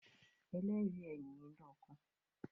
“ Ẹlẹ́rìí” ẹ nìyẹn lọ́kàn